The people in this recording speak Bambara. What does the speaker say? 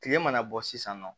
Tile mana bɔ sisan nɔ